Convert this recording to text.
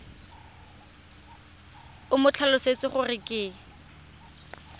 o mo tlhalosetse gore ke